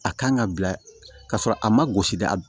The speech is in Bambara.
A kan ka bila ka sɔrɔ a ma gosi da